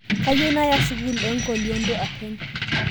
Kayieu naaya sukul eenkolionto apeny